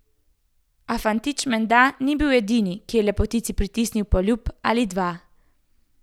A fantič menda ni bil edini, ki je lepotici pritisnil poljub ali dva.